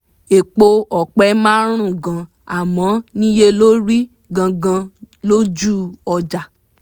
epo ọ̀pẹ máa rùn gan àmọ́ níye lórí gan gan lójú ọjà